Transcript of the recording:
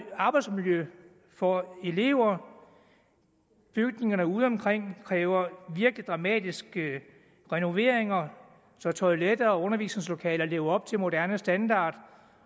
arbejdsmiljø for elever bygningerne udeomkring kræver virkelig dramatiske renoveringer så toiletter og undervisningslokaler lever op til moderne standard